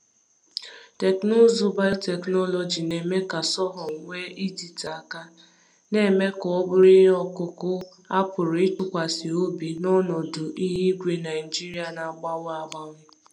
Teknụzụ biotechnology na-eme ka sorghum nwee ịdịte aka, na-eme ka ọ bụrụ ihe ọkụkụ a pụrụ ịtụkwasị obi n’ọnọdụ ihu igwe Naijiria na-agbanwe agbanwe.